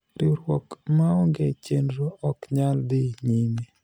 riwruok maonge chenro ok nyal dhi nyime